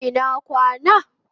Ina kwana